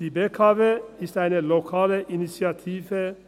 Die BKW ist eine lokale Initiative;